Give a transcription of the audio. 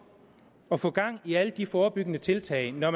at få gang i alle de forebyggende tiltag når